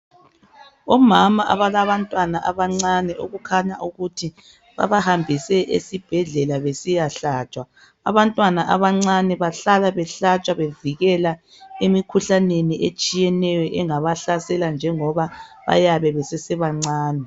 omama abalabantwana abancane kukhanya ukuthi babahambise esibhedlela besiyahlatshwa abantwana abancane bahlala behlatshwa bevikela emikhuhlaneni etshiyeneyo engabahlasela njengoba bayabe besesebancane